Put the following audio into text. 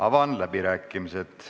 Avan läbirääkimised.